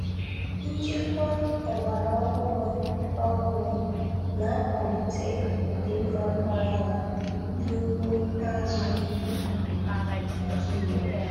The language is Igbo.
Njikwa ọgbara ọhụrụ ọhụrụ na-akwalite ọdịmma ngwaahịa n'ugbo azụ̀ Naịjiria.